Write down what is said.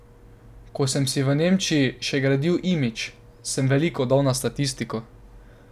Ko sem si v Nemčiji še gradil imidž, sem veliko dal na statistiko.